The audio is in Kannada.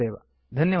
ಧನ್ಯವಾದಗಳು